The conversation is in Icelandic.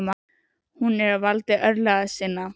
Hún er á valdi örlaga sinna.